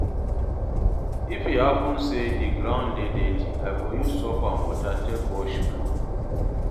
if e hapun say di ground dey dirty, I go use soap and water take wash floor